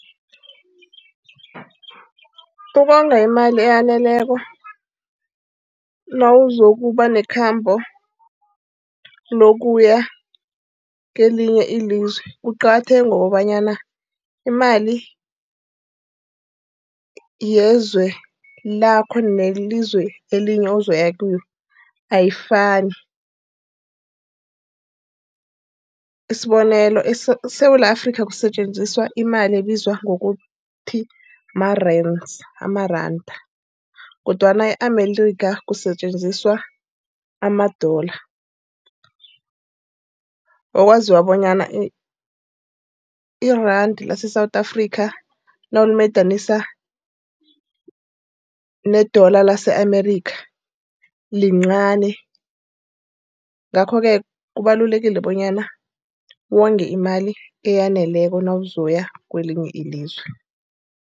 Ukonga imali eyaneleko nawuzokuba nekhambo lokuya kelinye ilizwe kuqakatheke ngokobanyana imali yezwe lakho nelizwi elinye ozoya kilo ayifani. Isibonelo, eSewula Afrika kusetjenziswa imali ebizwa ngokuthi ma-rands, amaranda, kodwana e-America kusetjenziswa ama-dollar. Okwaziwa bonyana iranda leSewula Afrika nawulimadanisa ne-dollar lase-America lincani. Ngakho-ke kubalulekile bonyana wonge imali eyaneleko nawuzokuya kwelinye ilizwe.